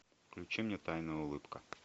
включи мне тайная улыбка